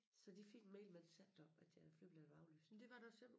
Så de fik en mail mens vi sad deroppe at deres flybilletter var aflyst